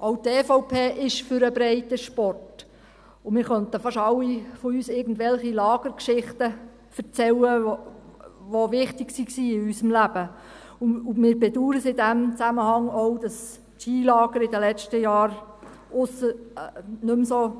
Auch die EVP ist für den Breitensport, und fast alle von uns könnten irgendwelche Lagergeschichten erzählen, die in unserem Leben wichtig waren, und wir bedauern es in diesem Zusammenhang auch, dass die Skilager nicht mehr so